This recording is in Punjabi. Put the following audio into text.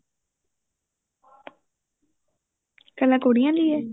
ਕੱਲਾ ਕੁੜੀਆਂ ਲਈ ਏ